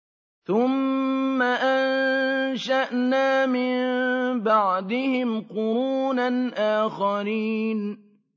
ثُمَّ أَنشَأْنَا مِن بَعْدِهِمْ قُرُونًا آخَرِينَ